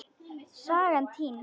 Sagan týnd.